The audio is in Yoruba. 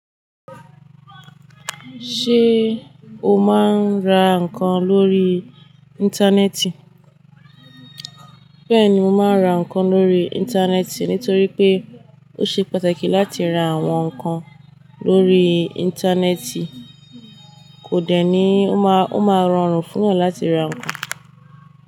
Ṣé o máa ń ra ǹkan lórí Íńtánẹ́ẹ̀tì? Bẹ́ẹ̀ni mo máa ń ra ǹkan lórí Íńtánẹ́ẹ̀tì nítorí pé ó ṣe pàtàkì láti ra àwọn ǹkan lórí Íńtánẹ́ẹ̀tì, kò dẹ̀ ní ó máa rọrùn fún ọ láti ra ǹkan.